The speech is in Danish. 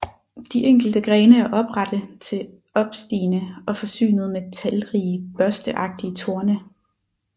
De enkelte grene er oprette til opstigende og forsynet med talrige børsteagtige torne